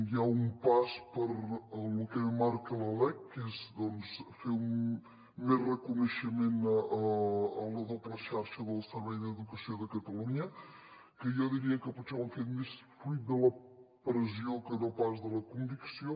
hi ha un pas per lo que marca la lec que és fer més reconeixement a la doble xarxa del servei d’educació de catalunya que jo diria que potser ho han fet més fruit de la pressió que no pas de la convicció